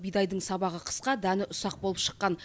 бидайдың сабағы қысқа дәні ұсақ болып шыққан